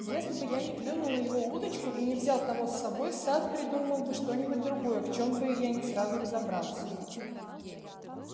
если бы я не клюнул на его удочку и не взял того с собой сатт придумал бы что-нибудь другое в чём бы я не сразу разобрался